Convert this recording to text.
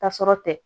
Tasɔrɔ tɛ